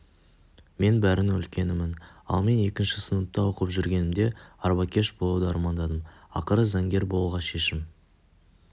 мен бәрінің үлкенімін ал мен екінші сыныпта оқып жүргенімде арбакеш болуды армандадым ақыры заңгер болуға шешім